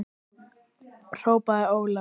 hrópaði Ólafur.